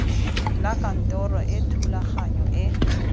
la kantoro e thulaganyo e